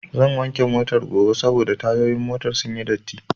Zan wanke Motar gobe saboda tayoyin motar sunyi datti